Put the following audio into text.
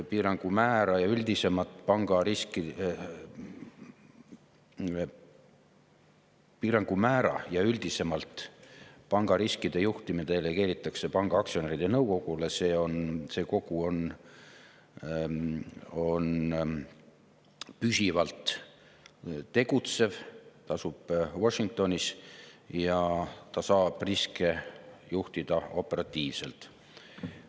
Piirangu määra ja üldisemalt panga riskide juhtimine delegeeritakse panga aktsionäride nõukogule, see kogu on püsivalt tegutsev, ta asub Washingtonis ja ta saab riske juhtida operatiivselt.